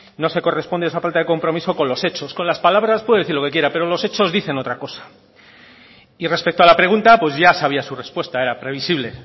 no se corresponde esa falta de compromiso con los hechos con las palabras puede decir lo que quiera pero los hechos dicen otra cosa y respecto a la pregunta pues ya sabía su respuesta era previsible